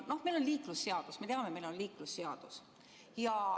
Me teame, et meil on liiklusseadus.